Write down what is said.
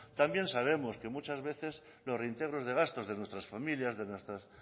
también sabemos que muchas veces que los reintegros de gastos de nuestras familias de nuestros